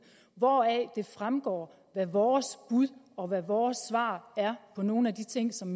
hvoraf det fremgår hvad vores bud og vores svar er på nogle af de ting som